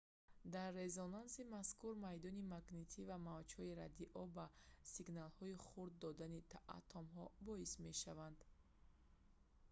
дар резонанси мазкур майдони магнитӣ ва мавҷҳои радио ба сигналҳои хурд додани атомҳо боис мешаванд